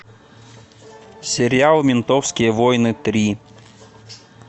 сериал ментовские войны три